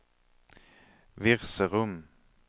Virserum